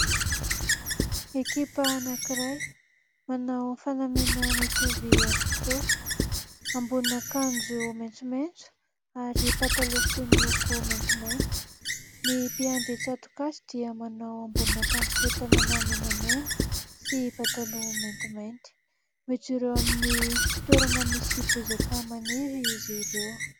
Ekipa anankiray manao fanamiana mitovy avokoa : ambonin'akanjo maitsomaitso ary pataloha fohy miloko maintsimainty. Ny mpiandry tsato-kazy dia manao ambonin'akanjo fohy tanana menamena sy pataloha maintymainty. Mijoro amin'ny toerana misy bozaka maniry izy ireo.